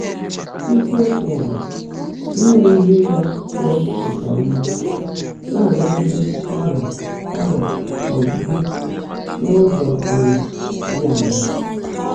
Ísiokwú bụ́ “Ínwé Íhe Ị́gá um nkè Ọ́mã n’Ị́nágídé Ọ́rị́á Ọ́rị́á um Gị́ — N’ụ́zọ́ um Ḍị́ Áṅaá?”